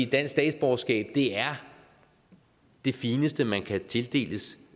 dansk statsborgerskab er det fineste man kan tildeles